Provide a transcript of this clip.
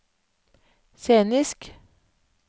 scenisk